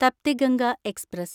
Tapti Ganga express